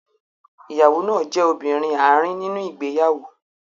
Ìyàwó náà jẹ́ obìnrin àárín nínú ìgbéyàwó.